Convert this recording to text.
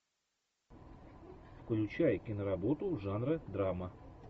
включай киноработу жанра драма